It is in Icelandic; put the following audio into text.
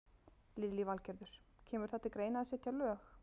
Lillý Valgerður: Kemur það til greina að setja lög?